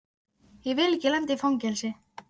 Ég vil ekki lenda í fangelsi.